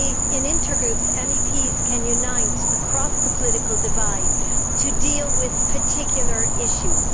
In intergroups, MEPs can unite across the political divide to deal with particular issues.